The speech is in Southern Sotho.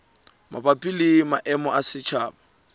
mabapi le maemo a setjhaba